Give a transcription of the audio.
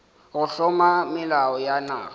go hlama melao ya naga